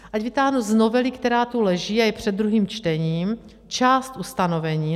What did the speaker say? Ať vytáhnu z novely, která tu leží a je před druhým čtením, část ustanovení.